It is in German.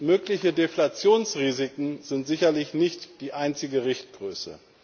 Mögliche Deflationsrisiken sind sicherlich nicht die einzige Richtgröße.